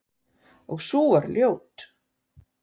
Og sú var ljót!